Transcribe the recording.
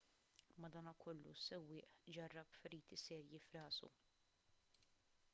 madankollu is-sewwieq ġarrab feriti serji f'rasu